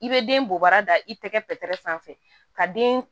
I bɛ den bɔ bara da i tɛgɛ fɛ pɛrɛ sanfɛ ka den